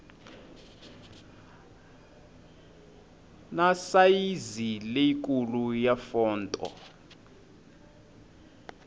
na sayizi leyikulu ya fonto